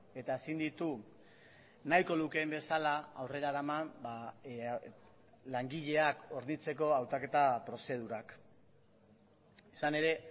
eta ezin ditu nahiko lukeen bezala aurrera eraman langileak hornitzeko hautaketa prozedurak izan ere